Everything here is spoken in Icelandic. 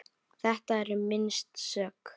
Þetta er minnst sök.